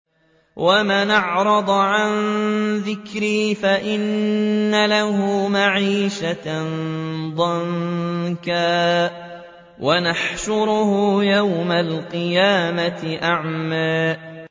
وَمَنْ أَعْرَضَ عَن ذِكْرِي فَإِنَّ لَهُ مَعِيشَةً ضَنكًا وَنَحْشُرُهُ يَوْمَ الْقِيَامَةِ أَعْمَىٰ